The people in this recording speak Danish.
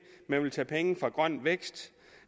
man vil tage penge fra grøn vækst